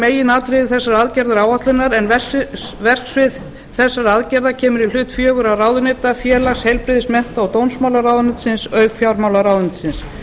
meginatriði þessarar aðgerðaáætlunar en verksvið þessara aðgerða kemur í hlut fjögurra ráðuneyta félags heilbrigðis mennta og dómsmálaráðuneytisins auk fjármálaráðuneytisins